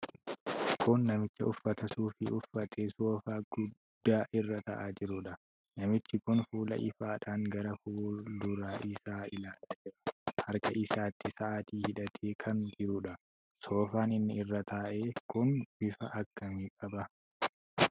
Kun namicha uffata suufii uffatee soofaa guddaa irra taa'aa jiruudha. Namichi kun fuula ifaadhaan gara fuuldura isaa ilaalaa jira. Harka isaatti sa'aatii hidhatee kan jiruudha. Soofaan inni irra taa'e kun bifa akkamii qaba?